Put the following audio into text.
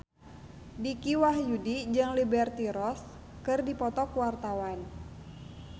Dicky Wahyudi jeung Liberty Ross keur dipoto ku wartawan